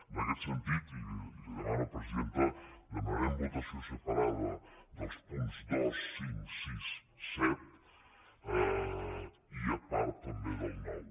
en aquest sentit i li ho demano presidenta demanarem votació separada dels punts dos cinc sis set i a part també del nou